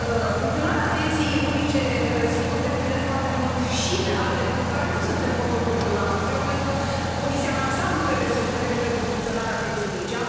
Funcționarea pieței unice, sigur, depinde foarte mult și de alte lucruri care nu sunt în portofoliul dumneavoastră, eu cred că Comisia în ansamblu trebuie să lucreze pentru funcționarea pieței unice.